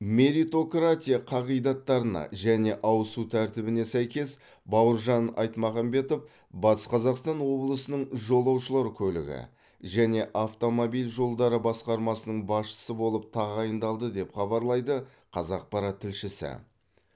меритократия қағидаттарына және ауысу тәртібіне сәйкес бауыржан айтмағамбетов батыс қазақстан облысының жолаушылар көлігі және автомобиль жолдары басқармасының басшысы болып тағайындалды деп хабарлайды қазақпарат тілшісі